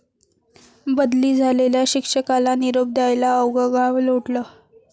बदली झालेल्या शिक्षकाला निरोप द्यायला अवघं गाव लोटलं!